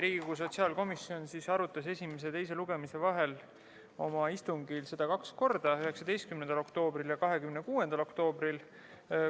Riigikogu sotsiaalkomisjon arutas eelnõu esimese ja teise lugemise vahel oma istungil kaks korda: 19. oktoobril ja 26. oktoobril.